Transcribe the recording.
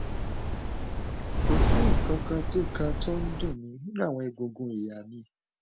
kò sí nǹkan kan tó kan tó ń dùn mí nínú àwọn egungun ìhà mi